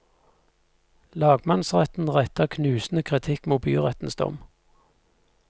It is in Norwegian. Lagmannsretten retter knusende kritikk mot byrettens dom.